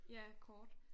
Ja kort